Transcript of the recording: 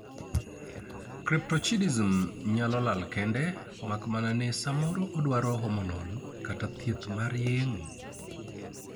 Cryptochidism nyalo lal kende mak mana ni samoro odwaro hormonal kata thieth mar yang'o